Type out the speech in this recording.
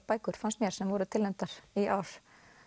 bækur fannst mér sem voru tilnefndar í ár